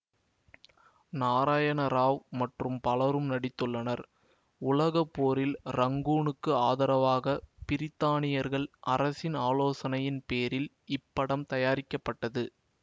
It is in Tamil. நாராயண ராவ் மற்றும் பலரும் நடித்துள்ளனர் உலக போரில் ரங்கூனுக்கு ஆதரவாக பிரித்தானியர்கள் அரசின் ஆலோசனையின் பேரில் இப்படம் தயாரிக்கப்பட்டது